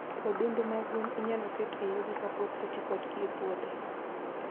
Odundu mag gwen inyalo ket e yugi kapok oti kodgi e puothe.